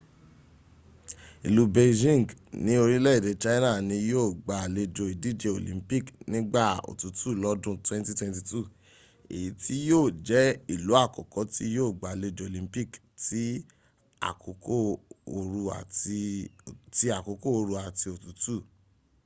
ìlú beijing ní orílẹ̀èdè china ni yío gba àlejò ìdíje olympic nígbà òtútù lọ́dún 2022 èyí tí yíò jẹ́ ìlú àkọ́kọ́ tí yíò gbàlejò olympic ti àkókò ooru àti òtútù